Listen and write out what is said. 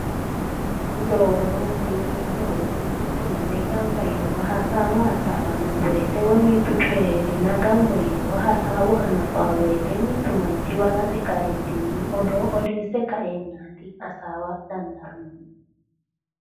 Odoo odoote yineemo woyiite mittu manni gamba yinowa hasaawa hasaawanno woyiite woyi mittu coyi heereenna gamba yinowa hasaawa hanafaa woyite mittu manchi balaxe kaeentinni odoo odeesse kaeennaati hasaawa dandaannohu.